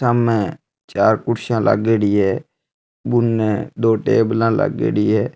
सामने चार कुर्सियां लागेड़ी है बुने दो टेबला लागेड़ी है।